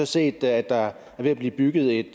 set at der er ved at blive bygget et